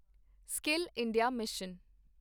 skill India mission